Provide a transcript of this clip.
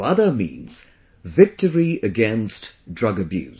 VADA means Victory Against Drug Abuse